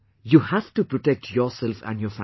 You have to protect yourself and your family